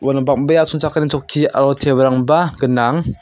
uano bang·bea asongchakani chokki aro tebilrangba gnang.